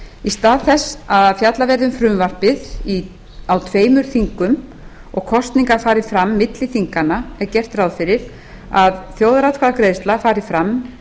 í stað þess að fjallað verði um frumvarpið á tveimur þingum og kosningar fari fram milli þinganna er gert ráð fyrir að þjóðaratkvæðagreiðsla fari fram um